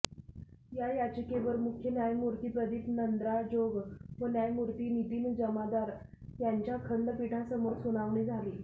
या याचिकेवर मुख्य न्यायमूर्ती प्रदीप नंद्राजोग व न्यायमूर्ती नितीन जामदार यांच्या खंडपीठासमोर सुनावणी झाली